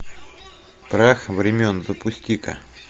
прах времен запусти ка